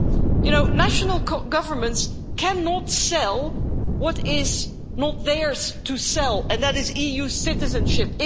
You know, national governments cannot sell what is not theirs to sell, and that is EU citizenship.